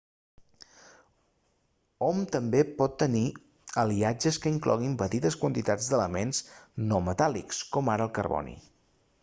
hom també pot tenir aliatges que incloguin petites quantitats d'elements no metàl·lics com ara el carboni